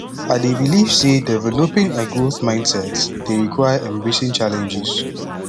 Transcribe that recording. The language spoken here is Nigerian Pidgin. i dey believe say developing a growth mindset dey require embracing challenges